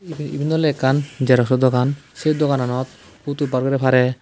iben ole ekkan xerox o dogan se dogananot photo bar gorey pare.